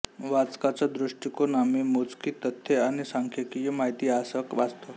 वाचकाचा दृष्टिकोण आम्ही मोजकी तथ्ये आणि सांख्यकीय माहिती यांसह वाचतो